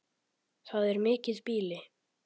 Það er mikið býli.